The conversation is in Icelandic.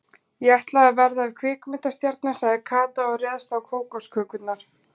Ég ætla að verða kvikmyndastjarna sagði Kata og réðst á kókoskökurnar.